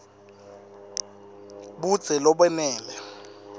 budze lobenele